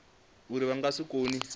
uri vha nga si kone